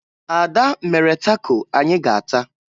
Ada mere tako anyị ga-ata